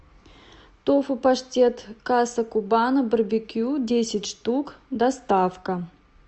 тофу паштет каса кубана барбекю десять штук доставка